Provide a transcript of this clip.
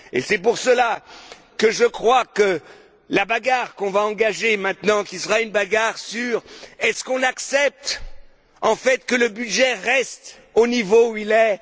C'est pour cela que je crois que la bagarre que l'on va engager maintenant, qui sera une bagarre sur la question Est ce qu'on accepte en fait que le budget reste au niveau où il est?,